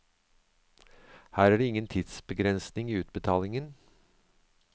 Her er det ingen tidsbegrensning i utbetalingen.